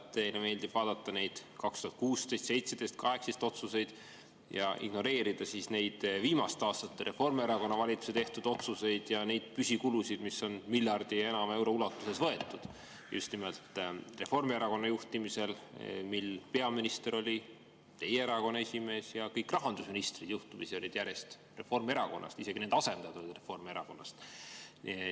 Teile meeldib vaadata neid 2016, 2017, 2018 tehtud otsuseid ja ignoreerida viimaste aastate Reformierakonna valitsuse tehtud otsuseid ja neid püsikulusid, mis on miljardi ja enama euro ulatuses võetud just nimelt Reformierakonna juhtimisel, mil teie erakonna esimees oli peaminister ja juhtumisi kõik rahandusministrid olid järjest Reformierakonnast, isegi nende asendajad olid Reformierakonnast.